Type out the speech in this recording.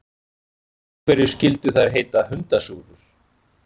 Af hverju skyldu þær heita hundasúrur?